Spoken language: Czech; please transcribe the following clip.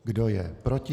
Kdo je proti?